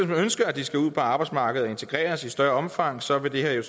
man ønsker at de skal ud på arbejdsmarkedet og integreres i større omfang så vil det her jo